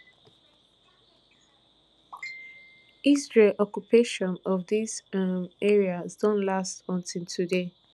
israel occupation of dis um areas don last until today